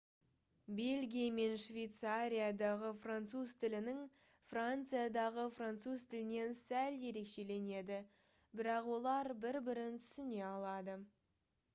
бельгия мен швейцариядағы француз тілінің франциядағы француз тілінен сәл ерекшеленеді бірақ олар бір-бірін түсіне алады